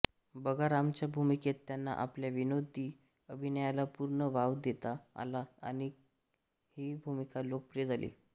बगारामच्या भूमिकेत त्यांना आपल्या विनोदी अभिनयाला पूर्ण वाव देता आला आणि ही भूमिका लोकप्रिय झाली